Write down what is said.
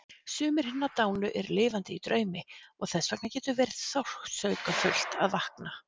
Sumir hinna dánu eru lifandi í draumi og þessvegna getur verið sársaukafullt að vakna.